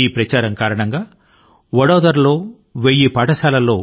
ఈ కార్యక్రమం కారణం గా నేడు వడోదరా లోని ఒక వేయి పాఠశాలల్లో